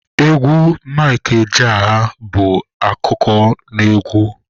Egwu Mike Ejeagha bụ akụkọnaegwu.